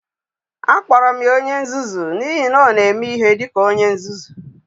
Akpọrọ m ya onye nzuzu n'ihi na ọ na-eme ihe dị ka onye nzuzu.